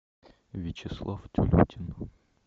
вячеслав тюлютин